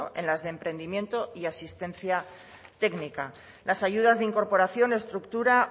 en las de emprendimiento y asistencia técnica las ayudas de incorporación o estructura